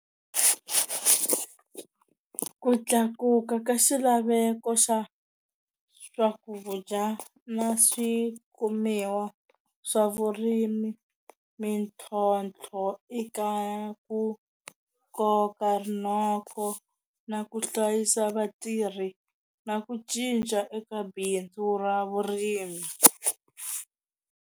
Ku tlakuka ka xilaveko xa swakudya na swikumiwa swa vurimi, mintlhontlho eka ku koka rinoko na ku hlayisa vatirhi na ku cinca eka bindzu ra vurimi.